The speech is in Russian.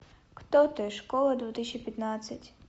кто ты школа две тысячи пятнадцать